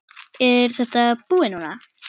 Er þetta búið núna?